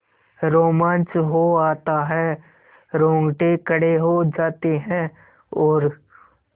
रोमांच हो आता है रोंगटे खड़े हो जाते हैं और